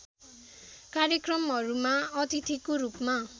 कार्यक्रमहरूमा अतिथिको रूपमा